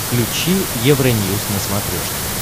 включи евроньюз на смотрешке